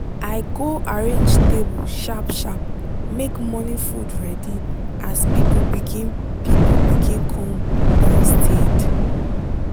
i go arrange table sharp sharp make morning food ready as people begin people begin come downstaird